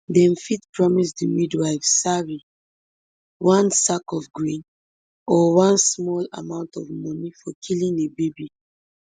dem fit promise di midwife sari one sack of grain or one small amount of moni for killing a baby